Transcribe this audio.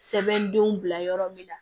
Sɛbɛndenw bila yɔrɔ min na